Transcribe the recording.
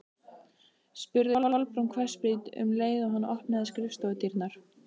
spurði Kolbrún hvassbrýnd um leið og hann opnaði skrifstofudyrnar.